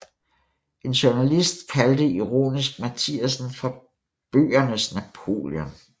En journalist kaldte ironisk Mathiasen for bøgernes Napoleon